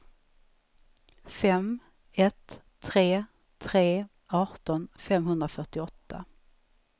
fem ett tre tre arton femhundrafyrtioåtta